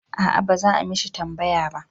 A'a ba za a mishi tambaya ba